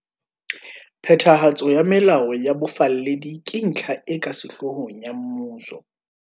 Phethahatso ya melao ya bofalledi ke ntlha e ka sehloohong ya mmuso.